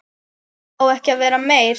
Á ekki að vera meir.